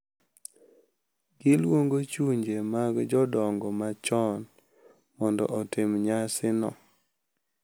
Giluongo chunje mag jodongo machon mondo otim nyasino.